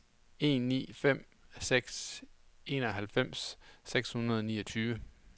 en ni fem seks enoghalvfems seks hundrede og niogtyve